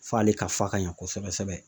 F'ale ka fa ka ɲɛ kosɛbɛ sɛbɛ